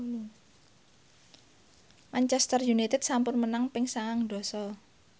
Manchester united sampun menang ping sangang dasa